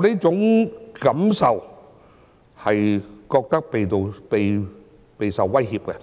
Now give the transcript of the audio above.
最近